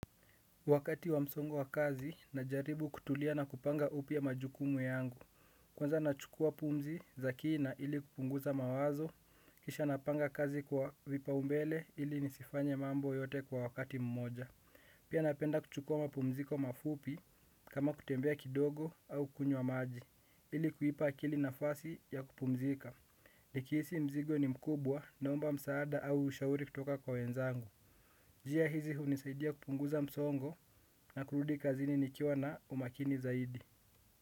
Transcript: Wakati wa msongo wa kazi najaribu kutulia na kupanga upya majukumu yangu. Kwanza nachukua pumzi za kina ili kupunguza mawazo. Kisha napanga kazi kwa vipaumbele ili nisifanye mambo yote kwa wakati mmoja. Pia napenda kuchukua mapumziko mafupi kama kutembea kidogo au kunywa maji ili kuipa akili nafasi ya kupumzika. Nikihisi mzigo ni mkubwa naomba msaada au ushauri kutoka kwa wenzangu njia hizi hunisaidia kupunguza msoongo na kurudi kazini nikiwa na umakini zaidi.